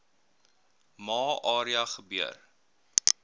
ma area gebeur